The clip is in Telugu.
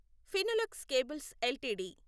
Finolex cables LTD